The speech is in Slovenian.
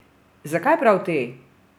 Zakaj prav te?